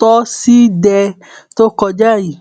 tọsídẹẹ tó kọjá yìí